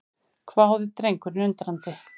hváði drengurinn undrandi.